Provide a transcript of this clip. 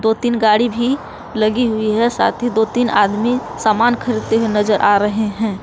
तीन गाड़ी भी लगी हुई है साथी दो तीन आदमी सामान खरीदते हैं नजर आ रहे हैं।